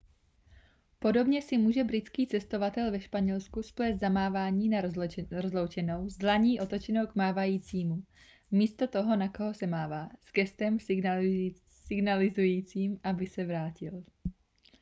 podobně si může britský cestovatel ve španělsku splést zamávání na rozloučenou s dlaní otočenou k mávajícímu místo toho na koho se mává s gestem signalizujícím aby se vrátil